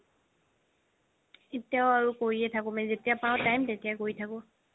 এতিয়াও কৰিয়ে থাকো যেতিয়া পাও time তেতিয়াই কৰি থাকো